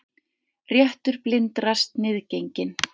Réttur blindra sniðgenginn